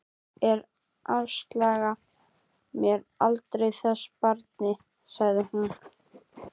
Ég afsala mér aldrei þessu barni, sagði hún.